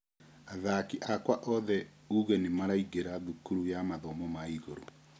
Athaki akwa othe ũgĩ nĩmaraingĩra thukuru ya mathomo ma igũrũ.